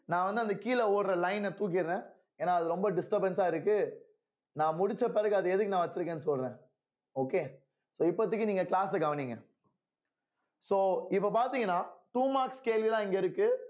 நான் வந்து அந்த கீழே ஓடுற line அ தூக்கிறேன் ஏன்னா அது ரொம்ப disturbance ஆ இருக்கு நான் முடிச்ச பிறகு அத எதுக்கு நான் வச்சிருக்கேன்னு சொல்றேன் okay so இப்போதைக்கு நீங்க class அ கவனிங்க so இப்போ பார்த்தீங்கன்னா two marks கேள்விதான் இங்கே இருக்கு